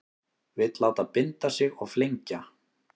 Vill láta binda sig og flengja